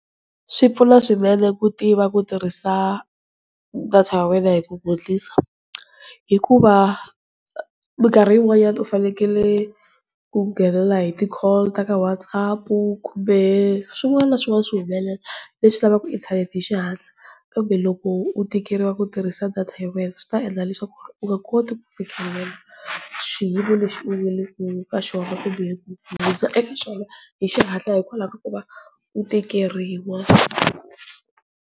Swi pfuna swinene ku tiva ku tirhisa data ya wena hi ku gwetlisa, hikuva minkarhi yi n'wanyana u fanekele ku nghenela hi ti-call ta ka WhatsApp, kumbe swin'wana na swin'wana swi humelela, leswi lavaka inthanete hi xihatla. Kambe loko u tikeriwa ku tirhisa data ya wena swi ta endla leswaku u nga koti ku fikelela xiyimo lexi u nge leka xona hi xihatla kumbe ku hundza eka xona hi xihatla hikwalaho ka ku va u tikeriwa.